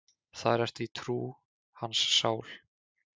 Þar ertu í trú, hans sál.